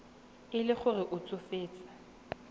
e le gore o tsofetse